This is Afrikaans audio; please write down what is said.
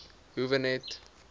howe net